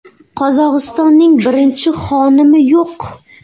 Qozog‘istonning birinchi xonimi yo‘q.